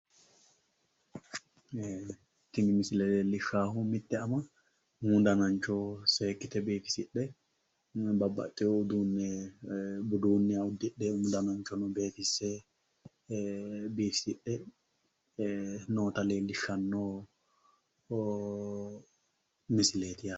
tini misile leellishshaahu mitte ama umu danancho seekkite biifisidhe babbaxewo uduunnicho budunniha udidhe umu dananchono biifisidhe noota leellishshanno misileeti yaate.